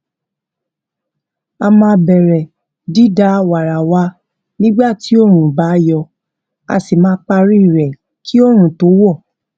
a máa bèrè dídá wàrà wa nígbà tí oòrùn bá yọ a sì máa parí rè kí oòrùn tó wò